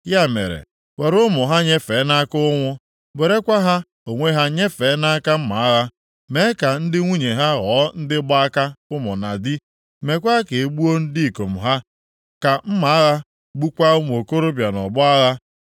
Ya mere, were ụmụ ha nyefee nʼaka ụnwụ. Werekwa ha onwe ha nyefee nʼaka mma agha. Mee ka ndị nwunye ha ghọọ ndị gba aka ụmụ na di. Meekwa ka e gbuo ndị ikom ha, ka mma agha gbukwaa ụmụ okorobịa nʼọgbọ agha.